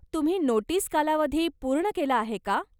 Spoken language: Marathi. तुम्ही नोटीस कालावधी पूर्ण केला आहे का?